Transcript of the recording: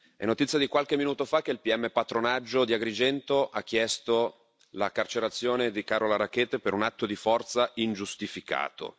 È notizia di qualche minuto fa che il pm Patronaggio di Agrigento ha chiesto la carcerazione di Carola Rackete per un atto di forza ingiustificato.